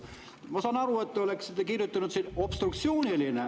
" Ma saan aru, kui te oleksite kirjutanud siia sõna "obstruktsiooniline" …